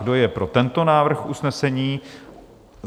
Kdo je pro tento návrh usnesení?